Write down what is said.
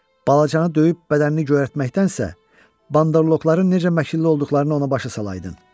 Balacanı döyüb bədənini göyərtməkdənsə, bandoloqların necə məkirli olduqlarını ona başa salaydın.